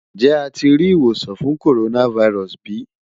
Njẹ a ti ri iwosan fun coronavirus bi?